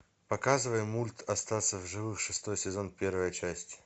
показывай мульт остаться в живых шестой сезон первая часть